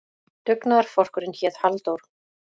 Dugnaðarforkurinn hét Halldór.